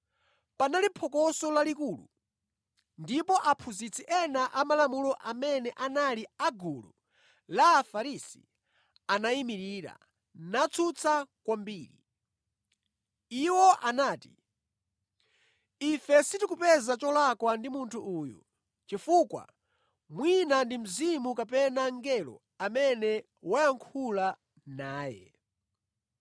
Panali phokoso lalikulu, ndipo aphunzitsi ena amalamulo amene anali a gulu la Afarisi anayimirira natsutsa kwambiri. Iwo anati, “Ife sitikupeza cholakwa ndi munthu uyu, chifukwa mwina ndi mzimu kapena mngelo amene wayankhula naye.”